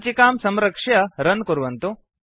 सञ्चिकां संरक्ष्य रन् कुर्वन्तु